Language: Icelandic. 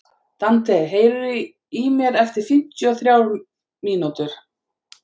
Dante, heyrðu í mér eftir fimmtíu og þrjár mínútur.